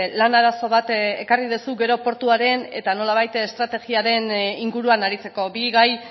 lan arazo bat ekarri duzu gero portuaren eta nolabait estrategiaren inguruan aritzeko bi gai